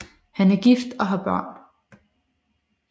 Han er gift og har børn